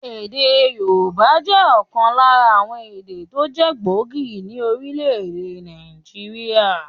Èdè Yorùbá jẹ́ ọ̀kan lára àwon èdè tó jẹ́ gbòógì ní Orílèdè Nàìjíríà